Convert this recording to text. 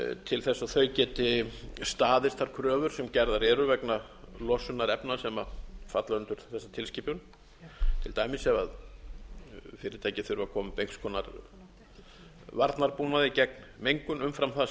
til að þau geti staðist þær kröfur sem gerðar eru vegna losunar efna sem falla undir þessa tilskipun til dæmis ef fyrirtæki þurfa að koma sér upp einhvers konar varnarbúnaði gegn menga umfram það sem þau